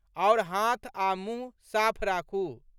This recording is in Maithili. आओर हाथ आ मुंह साफ राखू।